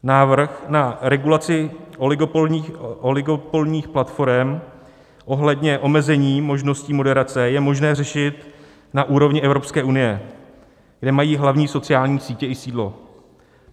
Návrh na regulaci oligopolních platforem ohledně omezení možností moderace je možné řešit na úrovni Evropské unie, kde mají hlavní sociální sítě i sídlo.